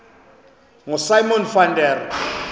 ngosimon van der